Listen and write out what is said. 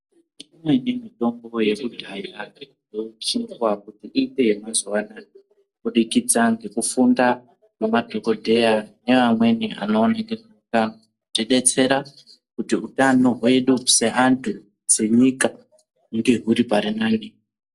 Kuneimwe mitombo yakudhaya yakusikwe kuti iite yemazuvaanaya kubudikidza ngekufunda kwema dhogodheya neamweni vanoringira kuti detsera kuti hutano hwedu seantu, senyika hunge huri parinani.